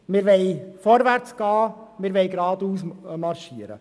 Wir wollen vorwärts gehen, wir wollen geradeaus marschieren.